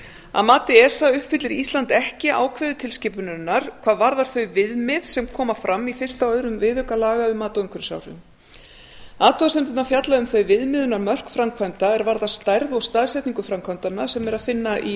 að mati esa uppfyllir ísland ekki ákvæði tilskipunarinnar hvað varðar þau viðmið sem koma fram í fyrsta og öðrum viðauka laga um mat á umhverfisáhrifum athugasemdirnar fjalla um þau viðmiðunarmörk framkvæmda er varðar stærð og staðsetningu framkvæmdanna sem er að finna í